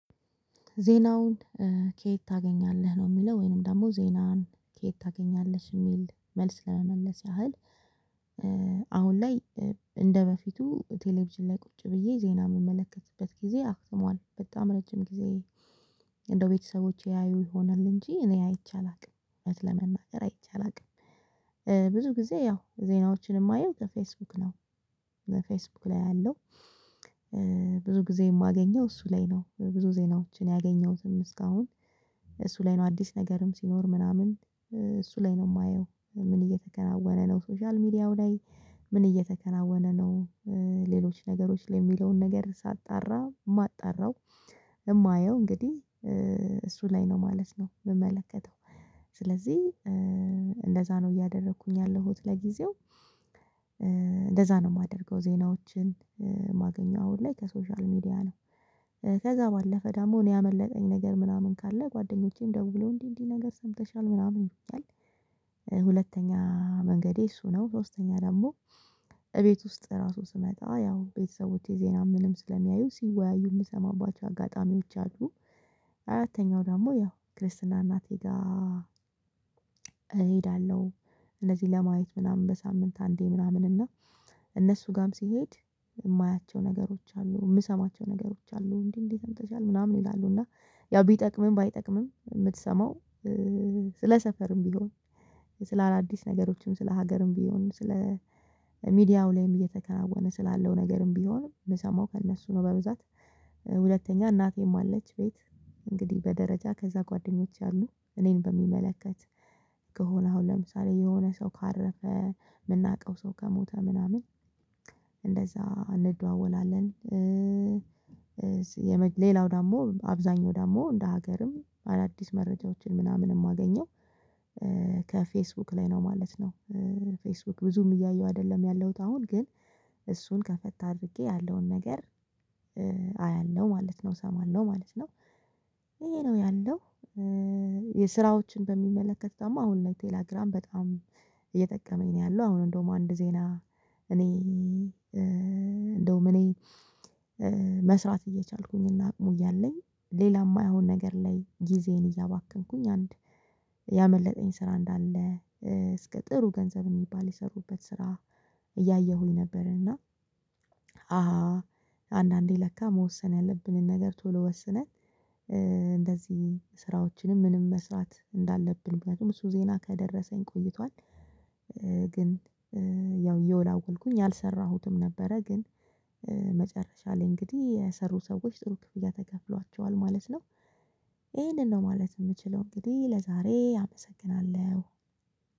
ዜናውን ከየት ታገኛለህ ነው ሚለው ወይንም ደሞ ዜናን ከየት ታገኛለሽ የሚል መልስ ለመመለስ ያህል? አሁን ላይ እንደበፊቱ ቴሌቪዥን ላይ ቁጭ ብዬ ዜና ምመለከትበት ጊዜ አክትሟል በጣም ረጅም ጊዜ። እንደው ቤተሰቦቼ ያዩ ይሆናል እንጂ እኔ አይቼ አላቅም እውነት ለመናገር አይቼ አላቅም። ብዙ ጊዜ ያው ዜናዎችን የማየው ከፌስቡክ ነው። ፌስቡክ ላይ አያለው። ብዙ ጊዜ የማገኘው እሱ ላይ ነው ብዙ ዜናዎችን ያገኘሁትም እስካሁን። እሱ ላይ ነው አዲስ ነገርም ሲኖር ምናምን እሱ ላይ ነው ማየው ምን እየተከናወነ ነው ሶሻል ሚዲያው ላይ? ምን እየተከናወነ ነው? ሌሎች ነገሮች ላይ ሚለውን ነገር ሳጣራ ማጣራው። እማየው እንግዲ እሱ ላይ ነው ማለት ነው ምመለከተው። ስለዚ እንደዛ ነው እያደረኩኝ ያለሁት ለጊዜው። እንደዛ ነው ማደርገው ዜናዎችን ማገኘው አሁን ላይ ከሶሻል ሚዲያ ነው። ከዛ ባለፈ ደሞ እኔ ያመለጠኝ ነገር ምናምን ካለ ጓደኞቼም ደውለው እንዲ እንዲ ነገር ሰምተሻል ምናምን ይሉኛል። ሁለተኛ መንገዴ እሱ ነው። ሶስተኛ ደሞ እቤት ውስጥ ራሱ ስመጣ ያው ቤተሰቦቼ ዜና ምንም ስለሚያዩ ሲወያዩ ምሰማባቸው አጋጣሚዎች አሉ። አራተኛው ደሞ ያው ክርስትና እናቴ ጋ እሄዳለው። እነዚ ለማየት ምናምን በሳምንት አንዴ ምናምን እና። እነሱ ጋም ስሄድ ማያቸው ነገሮች አሉ ምሰማቸው ነገሮች አሉ። እንዲ እንዲ ሰምተሻል ምናምን ይላሉ እና ያው ቢጠቅምም ባይጠቅምም ምትሰማው። ስለ ሰፈርም ቢሆን ስለ አዳዲስ ነገሮችም ስለ ሀገርም ቢሆን ስለ ሚዲያው ላይም እየተከናወነ ስላለው ነገርም ቢሆን ምሰማው ከእነሱ ነው። በብዛት። ሁለተኛ እናቴም አለች ቤት እንግዲ በደረጃ ከዛ ጓደኞች አሉ። እኔን በሚመለከት ከሆነ አሁን ለምሳሌ የሆነ ሰው ካረፈ ምናውቀው ሰው ከሞተ ምናምን እንደዛ እንደዋወላለን። ሌላው ደሞ አብዛኛው ደሞ እንደ ሀገርም አዳዲስ መረጃዎችን ምናምን እማገኘው ከፌስቡክ ላይ ነው ማለት ነው። ፌስቡክ ብዙም እያየው አደለም ያለውት አሁን ግን እሱን ከፈት አድርጌ ያለውን ነገር አያለው ማለት ነው እሰማለው ማለት ነው። ይሄ ነው ያለው። የስራዎችን በሚመለከት ደሞ አሁን ላይ ቴላግራም በጣም እየጠቀመኝ ነው ያለው። አሁን እንደውም አንድ ዜና እኔ እንደውም እኔ መስራት እየቻልኩኝና አቅሙ እያለኝ ሌላ ማይሆን ነገር ላይ ጊዜዬን እያባከንኩኝ አንድ ያመለጠኝ ስራ እንዳለ እስከ ጥሩ ገንዘብ ሚባል የሰሩበት ስራ እያየሁኝ ነበርና። አሃ አንዳንዴ ለካ መወሰን ያለብንን ነገር ቶሎ ወስነን እንደዚ ስራዎችንም ምንም መስራት እንዳለብን ምክንያቱም እሱ ዜና ከደረሰኝ ቆይቷል። ግን ያው እየወላወልኩኝ አልሰራሁትም ነበረ። ግን መጨረሻ ላይ እንግዲ የሰሩ ሰዎች ጥሩ ክፍያ ተከፍሏቸዋል ማለት ነው። ይሄንን ነው ማለት ምችለው እንግዲ ለዛሬ አመሰግናለው